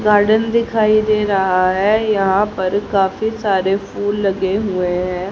Garden दिखाई दे रहा है यहां पर काफी सारे फूल लगे हुए हैं।